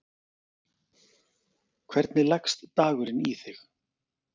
Hvernig leggst dagurinn í þig?